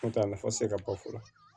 N'o tɛ a nafa tɛ se ka fɔ fɔlɔ